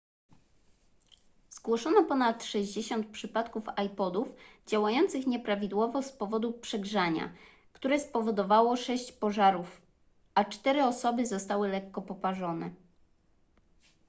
zgłoszono ponad 60 przypadków ipodów działających nieprawidłowo z powodu przegrzania które spowodowało sześć pożarów a cztery osoby zostały lekko poparzone